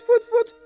Fut, fut, fut!